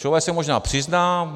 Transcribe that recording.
Člověk se možná přizná.